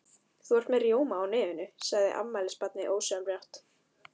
Þú ert með rjóma á nefinu, sagði afmælisbarnið ósjálfrátt.